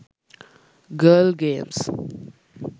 girl games